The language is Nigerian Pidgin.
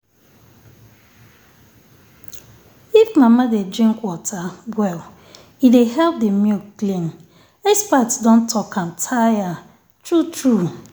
if mama dey drink water well e dey help the milk clean. experts don talk am tire… true-true.